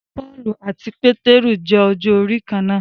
Pọ́ọ̀lù àti Pétérù jẹ ọjọ́ orí kán náà.